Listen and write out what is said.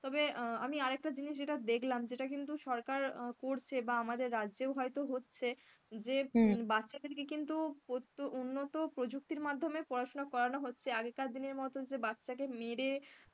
তবে আমি আরেকটা জিনিস যেটা দেখলাম যেটা কিন্তু সরকার করছে, বা আমাদের রাজ্যেও হয়তো যেটা হচ্ছে যে বাচ্চাদের কে কিন্তু প্রচুর উন্নত প্রযুক্তির মাধ্যমে পড়াশোনা করানো হচ্ছে, আগেকার দিনের মতন যে বাচ্চা কে মেরে,